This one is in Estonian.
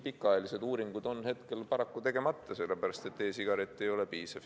Pikaajalised uuringud on hetkel paraku tegemata, sellepärast et e-sigaret ei ole piisav.